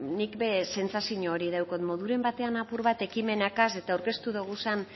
nik ere sentsazio hori daukat moduren batean apur bat ekimenegaz eta aurkeztu doguzan